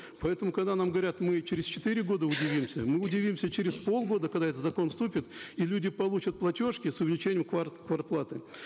поэтому когда нам говорят мы через четыре года удивимся мы удивимся через полгода когда этот закон вступит и люди получат платежки с увеличением квартплаты